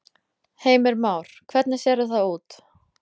Heimir Már: Hvernig sérðu það út?